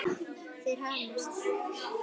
Þeir hamast.